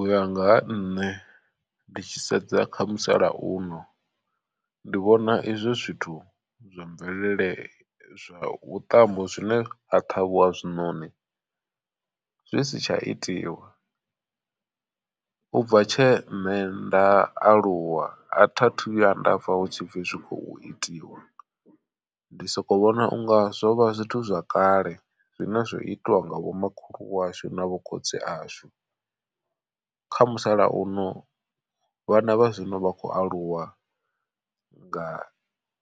Uya nga ha nṋe ndi tshi sedza kha musalauno ndi vhona izwo zwithu zwa mvelele zwa vhuṱambo zwine ha ṱhavhiwa zwiṋoni zwi si tsha itiwa. U bva tshe nṋe nda aluwa a thiathu vhuya ndapfha hu tshi pfhi zwi khou itiwa ndi soko vhona unga zwo vha zwithu zwa kale zwine zwo itiwa nga vhomakhulu washu na vho khotsi ashu. Kha musalauno vhana vha zwino vha khou aluwa nga